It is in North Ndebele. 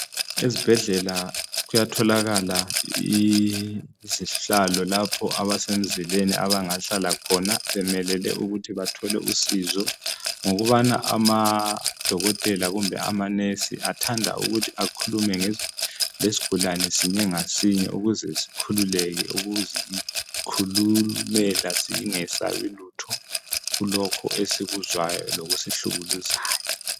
Izibhedlela kuyatholakala izihlalo ukuthi labo abasemzileni bathole izihlalo loba usizo ngoba odokotela labanonesi bayathanda ukukhuluma bemile lesigulane ukuze bakwazi ukusisiza kuthi sifunani.